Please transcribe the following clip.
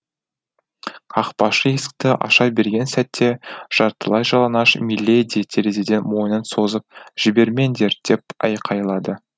қақпашы есікті аша берген сәтте жартылай жалаңаш миледи терезеден мойнын созып жібермеңдер деп айқайлады